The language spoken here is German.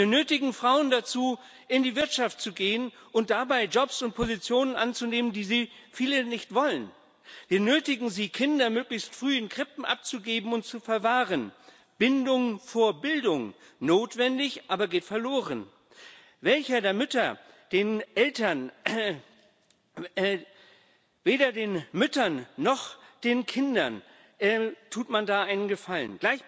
Wir nötigen Frauen dazu, in die Wirtschaft zu gehen und dabei Jobs und Positionen anzunehmen, die viele von ihnen nicht wollen. Wir nötigen sie, Kinder möglichst früh in Krippen abzugeben und zu verwahren. Bindung vor Bildung notwendig, aber geht verloren. Weder den Müttern noch den Kindern tut man da einen Gefallen.